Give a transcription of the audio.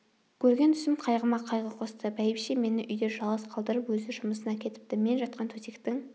көрген түсім қайғыма қайғы қосты бәйбіше мені үйде жалғыз қалдырып өзі жұмысына кетіпті мен жатқан төсектің